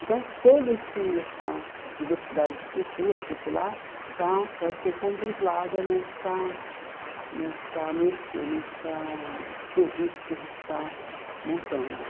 Então, toda esse essa diversidade de cultura popular está vai ser contemplada nessa nessa nesse nessa quesito que a gente está montando.